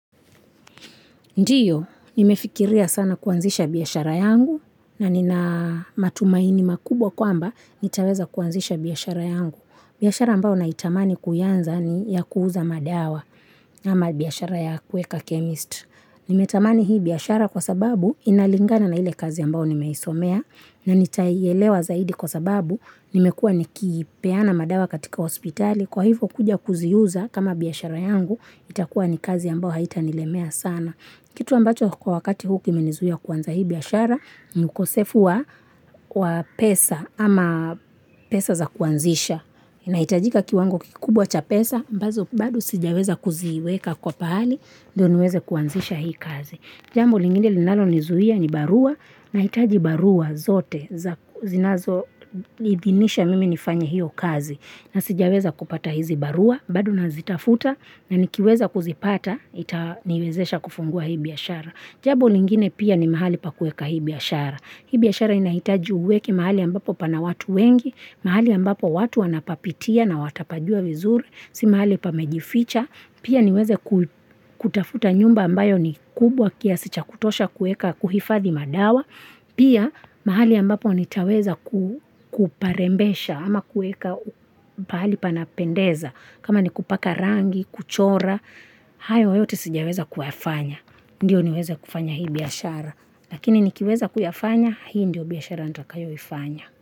Ndiyo, nimefikiria sana kuanzisha biashara yangu na nina matumaini makubwa kwa mba nitaweza kuanzisha biashara yangu. Biashara ambayo naitamani kuianza ni ya kuuza madawa ama biashara ya kuweka chemist. Nimetamani hii biashara kwa sababu inalingana na ile kazi ambayo nimeisomea na nitaielewa zaidi kwa sababu nimekua nikipeana madawa katika hospitali. Kwa hivyo kuja kuziuza kama biashara yangu itakuwa ni kazi ambao haitanilemea sana. Kitu ambacho kwa wakati huu kimenizuia kuanza hiia biashara, ni ukosefu wa pesa ama pesa za kuanzisha. Inahitajika kiwango kikubwa cha pesa, ambazo bado sijaweza kuziweka kwa pahali, ndio niweze kuanzisha hii kazi. Jambo lingine linalo nizuia ni barua, nahitaji barua zote, zinazoniidhinisha mimi nifanye hiyo kazi. Na sijaweza kupata hizi barua, bado nazitafuta, na nikiweza kuzipata, nitaniwezesha kufungua hii biashara. Jabo lingine pia ni mahali pa kueka hii biashara. Hii biashara inahitaji uweke mahali ambapo pana watu wengi, mahali ambapo watu wanapapitia na watapajua vizuri, si mahali pamejificha. Pia niweze kutafuta nyumba ambayo ni kubwa kiasi cha kutosha kueka kuhifathi madawa. Pia mahali ambapo nitaweza kuparembesha ama kueka pahali panapendeza kama ni kupaka rangi, kuchora, hayo yote sijaweza kuyafanya Ndiyo niweza kufanya hii biashara Lakini nikiweza kuyafanya, hii ndio biashara ntakayo ifanya.